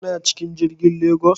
Kana cikin jirigin sama zuwa Ikko?